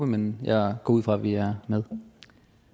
men jeg går ud fra at vi er med